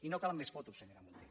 i no calen més fotos senyora munté